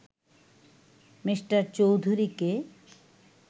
Me. চৌধুরীকে